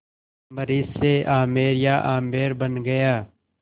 अम्बरीश से आमेर या आम्बेर बन गया